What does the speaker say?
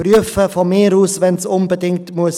Prüfen, von mir aus, wenn es unbedingt sein muss.